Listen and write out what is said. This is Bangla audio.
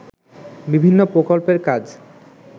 বিভিন্ন প্রকল্পের কাজ